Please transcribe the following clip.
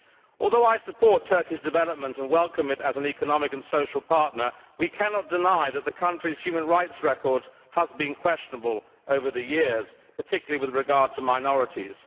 Although I support Turkey's development and welcome it as an economic and social partner, we cannot deny that the country's human rights record has been questionable over the years, particularly with regard to minorities.